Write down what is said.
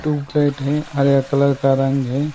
हैं हरे कलर का रंग है।